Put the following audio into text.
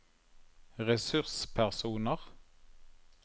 ressurspersoner